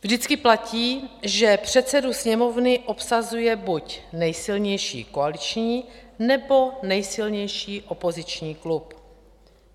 Vždycky platí, že předsedu Sněmovny obsazuje buď nejsilnější koaliční, nebo nejsilnější opoziční klub.